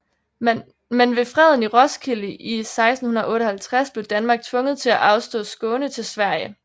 Men ved freden i Roskilde i 1658 blev Danmark tvunget til at afstå Skåne til Sverige